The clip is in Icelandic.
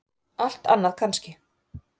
Allt annað kannski.